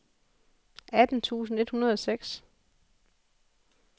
atten tusind et hundrede og seks